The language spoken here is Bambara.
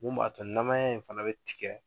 Mun b'a to namaya in fana bɛ tigɛ.